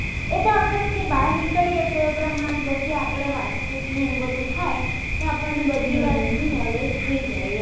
બહાર નીકળીએ તો એ પ્રમાણે તો એ પ્રમાણે વાતચીત ને બધું થાય તો આપણને બધી વાતનું નોલેજ થઈ જાય એમ